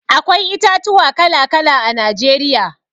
Akwai itatuwa kala-kala a Najeriya.